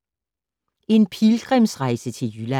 En pilgrimsrejse til Jylland